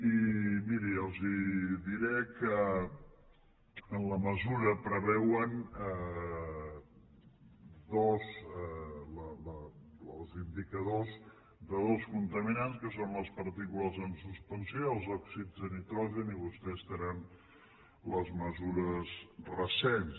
i miri els diré que en la mesura preveuen els indicadors de dos contaminats que són les partícules en suspensió i els òxids de nitrogen i vostès tenen les mesures recents